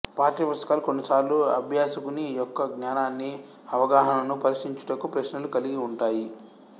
పాఠ్యపుస్తకాలు కొన్నిసార్లు అభ్యాసకుని యొక్క జ్ఞానాన్ని అవగాహనను పరీక్షీంచుటకు ప్రశ్నలు కలిగి ఉంటాయి